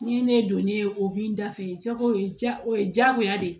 Ni ne donnen o b'i da fɛ jago ye jago o ye diyagoya de ye